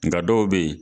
Nka dɔw bɛ yen